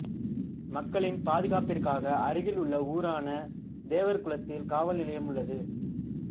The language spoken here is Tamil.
மக்களின் பாதுகாப்பிற்காக அருகில் உள்ள ஊரான தேவர்குளத்தில் காவல் நிலையம் உள்ளது